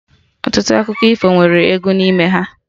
Ọtụtụ akụkọ ifo nwere egwu n'ime ha